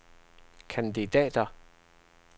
kandidater